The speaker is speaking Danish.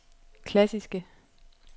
klassiske